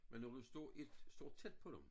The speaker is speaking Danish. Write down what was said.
Men når du står et står tæt på dem